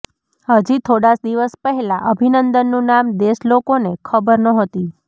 હજી થોડા દિવસ પહેલા અભિનંદનનું નામ દેશ લોકોને ખબર ન્હોતી